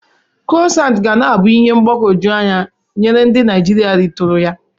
Krụasant ga na-abụ ihe mgbagwoju anya nye ndi Naijiria ritụrụ ya.